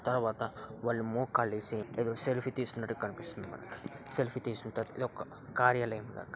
తర్వాత వాళ్లు మోకాల్లేసి ఏదో సెల్ఫీ తీసుకున్నట్టు కనిపిస్తుంది మనకి సెల్ఫీ తీసుకున్న తర్వాత ఇది ఒక కార్యాలయంలెక్క.